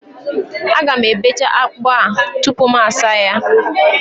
Aga m ebecha akpụ a tupu m asaa ya